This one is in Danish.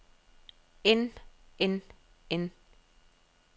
end end end